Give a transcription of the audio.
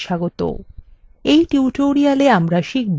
in tutorial আমরা শিখব কিভাবে